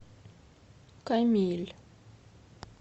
камиль